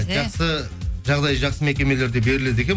жақсы жағдайы жақсы мекемелерде беріледі екен